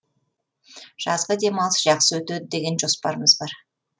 жазғы демалыс жақсы өтеді деген жоспарымыз бар